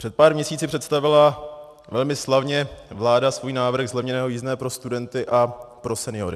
Před pár měsíci představila velmi slavně vláda svůj návrh zlevněného jízdného pro studenty a pro seniory.